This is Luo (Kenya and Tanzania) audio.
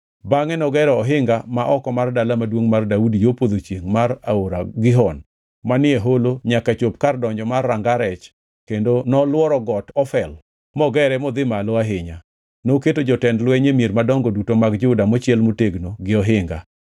Bangʼe nogero ohinga ma oko mar Dala Maduongʼ mar Daudi yo podho chiengʼ mar aora Gihon manie holo nyaka ochopo kar donjo mar Ranga Rech kendo nolworo got Ofel mogere modhi malo ahinya. Noketo jotend lweny e mier madongo duto mag Juda mochiel motegno gi ohinga.